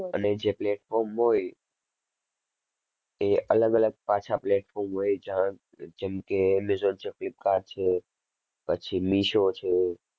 અને જે platform હોય, એ અલગ-અલગ પાછા platform હોય, જા~જેમ કે એમેઝોન છે, ફ્લિપકાર્ટ છે. પછી મીશો છે.